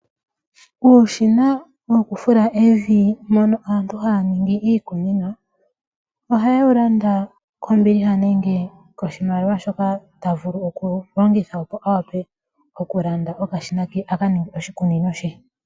Uushina woku fula evi mono aantu haya nongi iikunino oha yewu landa kombiliha nenge koshimaliwa shoka tavulu oku longitha op awape okulanda okashina ke akaninge oshikunino she .